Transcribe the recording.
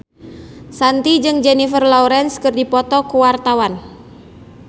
Shanti jeung Jennifer Lawrence keur dipoto ku wartawan